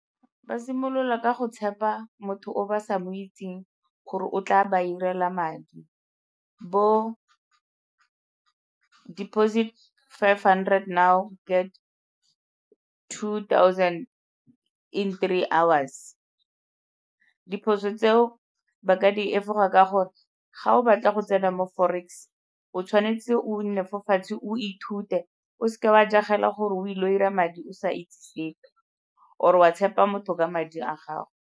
Ba simolola ka go tshepa motho o ba sa mo itseng gore o tla ba irela madi, bo deposit five hundred now get two thousand in three hours. Diphoso tseo ba ka di efoga ka gore ga o batla go tsena mo forex, o tshwanetse o nne fa fatshe o ithute, o seke wa jagela gore o ile go dira madi o sa itse sepe or-o wa tshepa motho ka madi a gago.